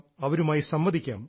അവരുമായി സംവദിക്കാം